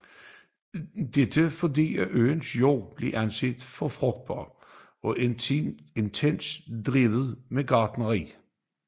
Dette fordi øens jorder blev anset for frugtbare og intensivt drevne med gartnerier